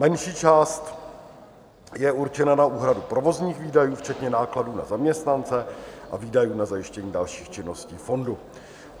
Menší část je určena na úhradu provozních výdajů, včetně nákladů na zaměstnance a výdajů na zajištění dalších činností fondu.